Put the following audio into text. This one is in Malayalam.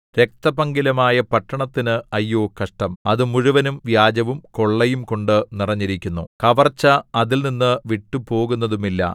രക്തപങ്കിലമായ പട്ടണത്തിന് അയ്യോ കഷ്ടം അത് മുഴുവനും വ്യാജവും കൊള്ളയും കൊണ്ട് നിറഞ്ഞിരിക്കുന്നു കവർച്ച അതിൽനിന്ന് വിട്ടുപോകുന്നതുമില്ല